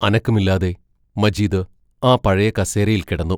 അനക്കമില്ലാതെ മജീദ് ആ പഴയ കസേരയിൽ കിടന്നു.